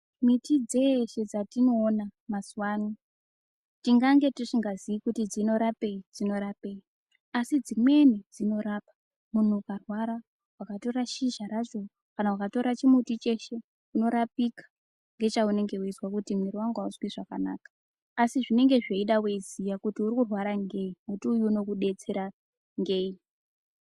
Miti dzeshe dzatino ona mazuva ano tingange tisinga zii kuti dzino rapei dzino rapei asi dzimweni dzino rapa munhu uka rwara waka tora shizha racho kana ukatora chimuti cheshe uno rapika nge cha unenge weizwa kuti mwiri wangu auzwi zvakanaka asi zvinenge zveida weiziya kuti uri kurwara ngei muti uyu uno kudetsera ngei.